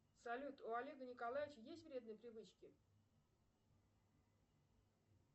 салют у олега николаевича есть вредные привычки